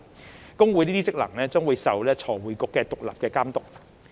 會計師公會這些職能將受財匯局獨立監督。